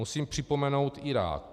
Musím připomenout Irák.